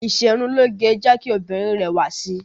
Ìṣerunlóge ń jẹ́ kí obìnrin rẹwà sí.